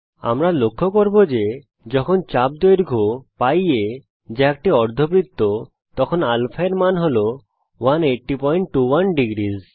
আমরা লক্ষ্য করব যে যখন চাপ দৈর্ঘ্য π aযা একটি অর্ধবৃত্ত তখন α র মান 18021 ডিগ্রী